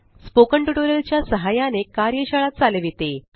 spoken tutorial च्या सहाय्याने कार्यशाळा चालविते